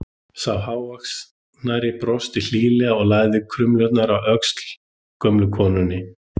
Sá hávaxnari brosti hlýlega og lagði krumluna á öxl gömlu konunni.